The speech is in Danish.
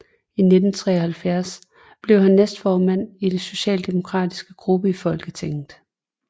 I 1973 blev han næstformand i den socialdemokratiske gruppe i Folketinget